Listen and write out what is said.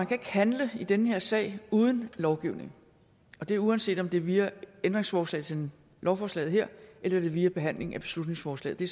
kan handle i den her sag uden af lovgivningen og det er uanset om det er via ændringsforslag til lovforslaget her eller det er via behandling af beslutningsforslaget det